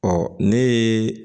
Ɔ ne ye